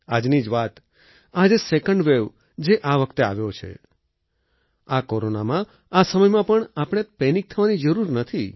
આજની જ વાત આ જે સેકન્ડ વેવ જે આ વખતે આવ્યો છે આ કોરોનામાં આ સમયમાં પણ આપણે પેનિક થવાની જરૂર નથી